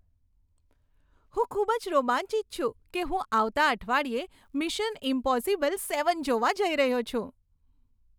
હું ખૂબ જ રોમાંચિત છું કે હું આવતા અઠવાડિયે મિશન ઈમ્પોસિબલ સેવન જોવા જઈ રહ્યો છું.